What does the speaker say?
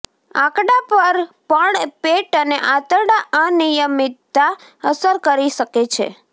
આંકડા પર પણ પેટ અને આંતરડા અનિયમિતતા અસર કરી શકે છે